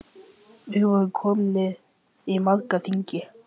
Við vorum komnir í marga hringi.